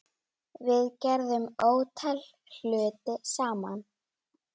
Við gerðum ótal hluti saman.